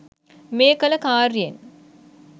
මේ කළ කාර්යයෙන්